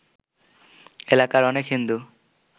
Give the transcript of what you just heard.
এলাকার অনেক হিন্দু